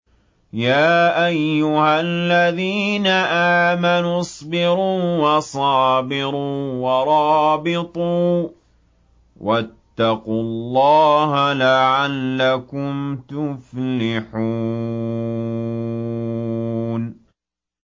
يَا أَيُّهَا الَّذِينَ آمَنُوا اصْبِرُوا وَصَابِرُوا وَرَابِطُوا وَاتَّقُوا اللَّهَ لَعَلَّكُمْ تُفْلِحُونَ